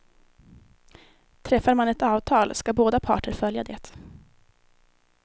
Träffar man ett avtal ska båda parter följa det.